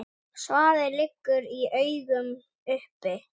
Svarið liggur í augum uppi.